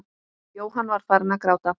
Jóhann var farinn að gráta.